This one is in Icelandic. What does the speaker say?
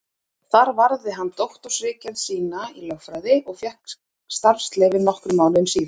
Þar varði hann doktorsritgerð sína í lögfræði og fékk starfsleyfi nokkrum mánuðum síðar.